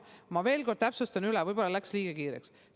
Ma veel kord täpsustan üle, võib-olla läks enne liiga kiireks.